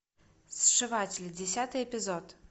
сшиватель десятый эпизод